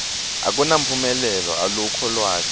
akunamphumelelo alukho lwati